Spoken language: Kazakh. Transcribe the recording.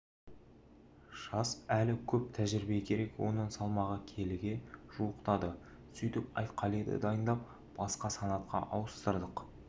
жас әлі көп тәжірибе керек оның салмағы келіге жуықтады сөйтіп айтқалиді дайындап басқа санатқа ауыстырдық